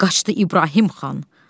Qaçdı İbrahim xan.